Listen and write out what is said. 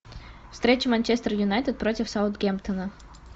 встреча манчестер юнайтед против саутгемптона